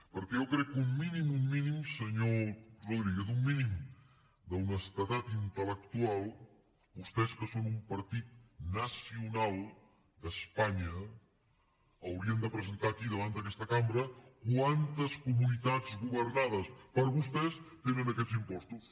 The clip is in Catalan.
perquè jo crec que un mínim un mínim senyor rodríguez un mínim d’honestedat intelque són un partit nacional d’espanya haurien de presentar aquí davant d’aquesta cambra quantes comunitats governades per vostès tenen aquests impostos